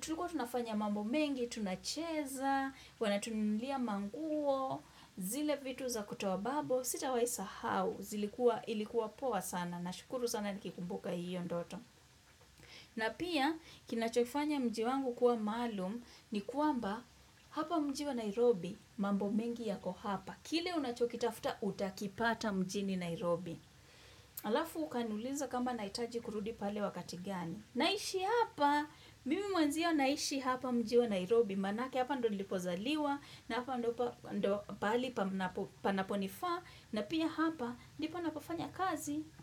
tuliko tunafanya mambo mengi, tunacheza, wanatunulia manguo, zile vitu za kutobabo, sitawaisahau. Zilikuwa ilikuwa poa sana na shukuru sana nikikumbuka hiyo ndoto. Na pia kinachofanya mji wangu kuwa malum ni kuamba Hapa mjiwa Nairobi mambo mengi yako hapa. Kile unachokitafta utakipata mjini Nairobi Alafu ukanuliza kamba naitaji kurudi pale wakati gani. Naishi hapa, mimi mwanzio naishi hapa mjiwa Nairobi. Manake hapa ndo nilipozaliwa na hapa ndo pahali panaponifaa. Na pia hapa, nipo napofanya kazi.